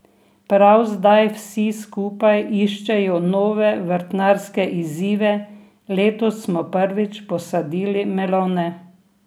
Prav zdaj vsi skupaj iščejo nove vrtnarske izzive: 'Letos smo prvič posadili melone.